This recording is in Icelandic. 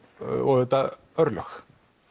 og auðvitað örlög